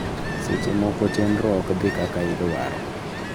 Seche moko chenro ok dhi kaka idwaro.